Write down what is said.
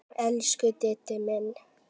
Elsku Diddi minn.